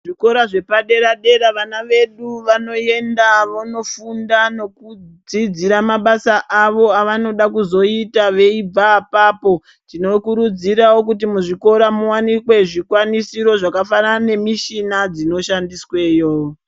Zvikora zvepadera dera vana vedu vanoenda vonofunda nekudzidzira mabasa avo avanoda kuzoita veibva apapo tinokurudzirao kuti muzvikora muwanikwe zvikwanisiro zvakafanana nemishina dzinoshandisweyo.